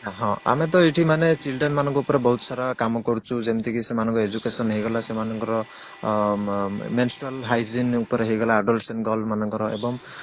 ଆମେ ତ ଏଇଠି ମାନେ children ମାନଙ୍କ ଉପରେ ବହୁତ ସାରା କାମ କରୁଛୁ ଯେମିତି କି ସେମାନଙ୍କର education ହେଇଗଲା ସେମାନଙ୍କର ମ ମ menstrual hygiene ଉପରେ ହେଇଗଲା adolescence girl ମାନଙ୍କର ଏବଂ